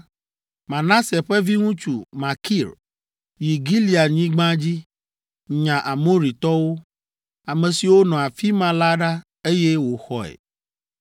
Manase ƒe viŋutsu, Makir yi Gileadnyigba dzi, nya Amoritɔwo, ame siwo nɔ afi ma la ɖa, eye wòxɔe.